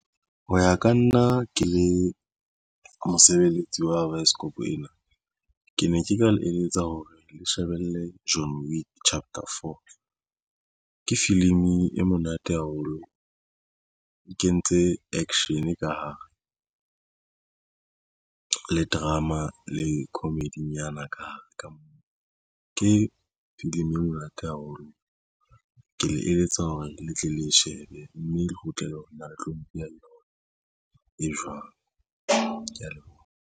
Ho ya ka nna ke le mosebeletsi wa baesekopo ena ke ne ke ka eletsa hore le shebelle John Wick chapter for ke filimi e monate haholo e kentse action ka hare le drama le comedy-nyana ka hare ka moo ke filimi e monate haholo. Ke le eletsa hore le tle le shebe mme re kgutlele ho nna le tlo mpolella e jwang. Ke ya leboha.